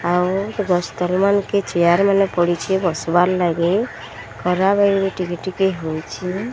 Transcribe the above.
ଆଉ ଦସ୍ତର୍ ମାନ କେ ଚେୟାର ମାନେ ପଡ଼ିଛି ବସିବାର ଲାଗି ଖରାବେଲ ବି ଟିକେ ଟିକେ ହେଉଛି।